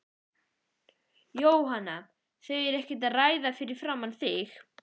Jóhann: Þau eru ekkert að ræða það fyrir framan þig?